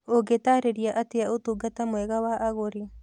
Ũngĩtaarĩria atĩa ũtungata mwega wa agũri?